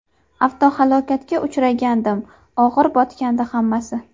Avtohalokatga uchragandim, og‘ir o‘tgandi hammasi.